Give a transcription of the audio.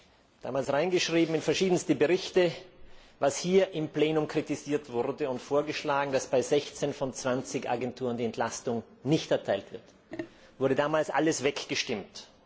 Damals habe ich in verschiedensten Berichten geschrieben, was hier im Plenum kritisiert wurde, und vorgeschlagen, dass bei 16 von 20 Agenturen die Entlastung nicht erteilt wird. Es wurde damals alles weggestimmt.